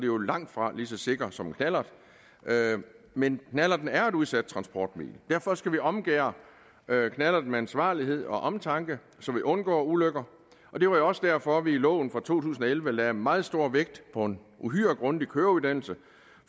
jo langtfra lige så sikker som en knallert men knallerten er et udsat transportmiddel og derfor skal vi omgærde knallerten med ansvarlighed og omtanke så vi undgår ulykker og det var jo også derfor vi i loven fra to tusind og elleve lagde meget stor vægt på en uhyre grundig køreuddannelse